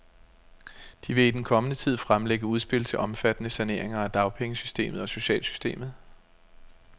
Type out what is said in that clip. De vil i den kommende tid fremlægge udspil til omfattende saneringer af dagpengesystemet og socialsystemet.